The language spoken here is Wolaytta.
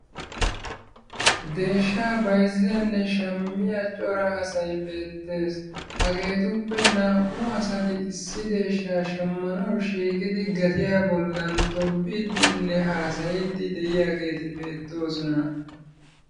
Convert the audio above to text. Deeshshaa bayzziyanne shammiya cora asay beetees. Hagetuppe naa'u asati issi deeshshaa shammanawu shiiqidi gatiya bollan tobbiiddinne haasayiddi de'iyageeti beetoosona.